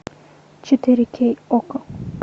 четыре кей окко